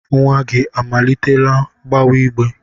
Nwa gị amalitela gbewa igbe?